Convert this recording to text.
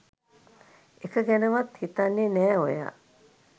එක ගැනවත් හිතන්නෙ නෑ ඔයා